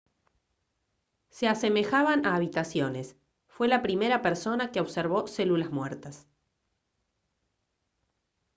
se asemejaban a habitaciones fue la primera persona que observó células muertas